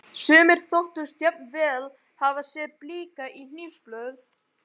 Sumir þóttust jafnvel hafa séð blika á hnífsblöð.